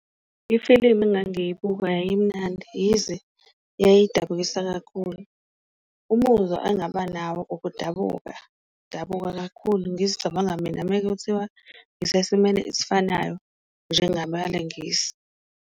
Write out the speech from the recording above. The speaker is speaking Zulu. Ifilimu engangiyibuka yayimnandi yize yayidabukisa kakhulu umuzwa angaba nawo ukudabuka, udabuka kakhulu ngizicabanga mina mekuthiwa ngisesimeni esifanayo njengabalingisi.